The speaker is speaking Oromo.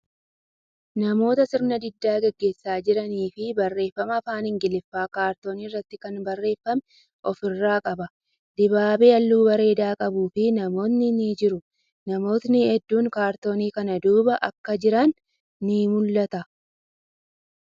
Namoota sirna diddaa gaggeessaa jiranii fii barreeffama afaan Ingiliffaan kaartoonii irratti kan barreeffame ofirraa qaba. Dibaabee haalluu bareeda qabuufii namootni ni jiru. Namootni hedduun kaartoonii kana duuba akka jiran ni mul'ata.